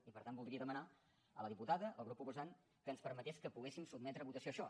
i per tant voldria demanar a la diputada al grup proposant que ens permetés que poguéssim sotmetre a votació això